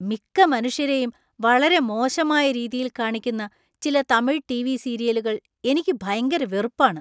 മിക്ക മനുഷ്യരെയും വളരെ മോശമായ രീതിയിൽ കാണിക്കുന്ന ചില തമിഴ് ടിവി സീരിയലുകൾ എനിക്ക് ഭയങ്കര വെറുപ്പാണ്. .